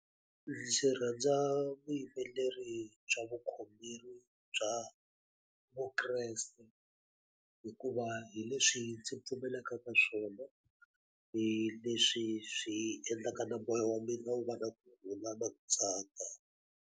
Ndzi rhandza vuyimbeleri bya vukhongeri bya vukreste, hikuva hi leswi ndzi pfumelaka ka swona. Hi leswi swi endlaka na moya wa mina wu va na kurhula na ku tsaka.